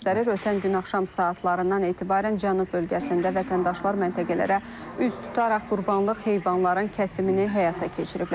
Ötən gün axşam saatlarından etibarən Cənub bölgəsində vətəndaşlar məntəqələrə üz tutaraq Qurbanlıq heyvanların kəsimini həyata keçiriblər.